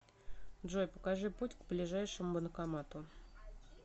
джой покажи путь к ближайшему банкомату